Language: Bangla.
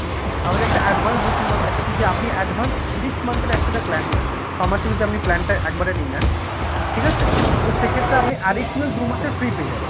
আমাদের একটা advance booking ও থাকে যদি আপনি advance six month এর একসাথে plan নিচ্ছেন, ছয়মাসের যদি plan টা একবারে নিয়ে নেন, ঠিক আছে? তো সেক্ষেত্রে আপনি additional দু'মাসের free পেয়ে যাবেন।